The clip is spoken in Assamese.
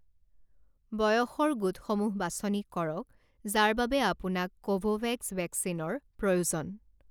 বয়সৰ গোটসমূহ বাছনি কৰক যাৰ বাবে আপোনাক কোভোভেক্স ভেকচিনৰ প্ৰয়োজন।